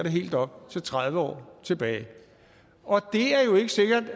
helt op til tredive år tilbage og det